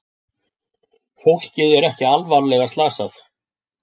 Fólkið er ekki alvarlega slasað